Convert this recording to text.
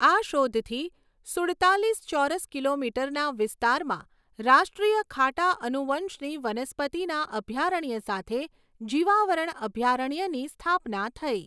આ શોધથી સુડતાલીસ ચોરસ કિલોમીટરના વિસ્તારમાં રાષ્ટ્રીય ખાટા અનુવંશની વનસ્પતિના અભયારણ્ય સાથે જીવાવરણ અભયારણ્યની સ્થાપના થઈ.